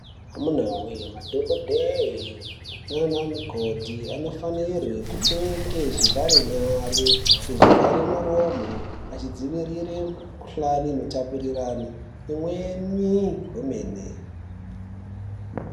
Amuna voye madhogodheya nana mukoti anofanirwe kupfeke zvevhare nyare, ngezvivhare miromo. Achidzivirire mukuhlani inotapurirane imweni hwemene.